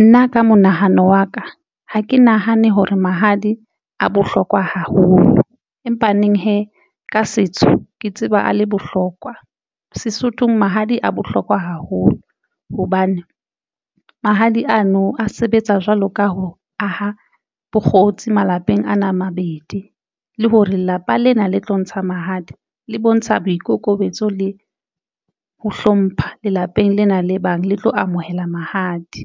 Nna ka monahano wa ka, ha ke nahane hore mahadi a bohlokwa haholo, empa neng hee ka setso ke tseba a le bohlokwa. Sesothong Mahadi a bohlokwa haholo hobane mahadi ano a sebetsa jwalo ka ho aha bokgotsi malapeng ano a mabedi le hore lelapa lena le tlo ntsha mahadi, le bontsha boikokobetso le ho hlompha lelapeng lena le bang le tlo amohela mahadi.